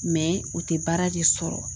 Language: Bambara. u tɛ baara de sɔrɔ.